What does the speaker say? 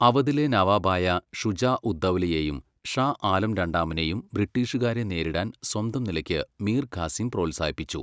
അവധിലെ നവാബായ ഷുജാഉദ്ദൗലയേയും ഷാ ആലം രണ്ടാമനേയും ബ്രിട്ടീഷുകാരെ നേരിടാൻ സ്വന്തം നിലയ്ക്ക് മീർ ഖാസിം പ്രോത്സാഹിപ്പിച്ചു.